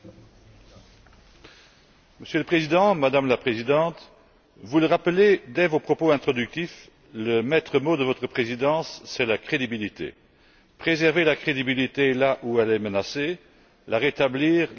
Monsieur le Président, Madame la Présidente, vous le rappelez dès vos propos introductifs, le maître mot de votre Présidence, c'est la crédibilité préserver la crédibilité là où elle est menacée, la rétablir là où nous l'avons perdue.